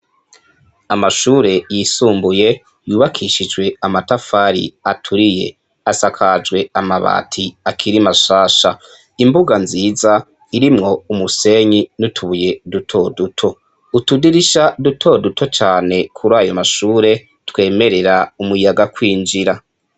Amashure yisumbuye yubakishijwe amatafari aturiye, asakajwe amabati akiri mashasha, imbuga nziza irimwo umusenyi n'utubuye dutoduto, utudidirisha dutoduto cane kurayo mashure twemerera umuyaga kwinjira.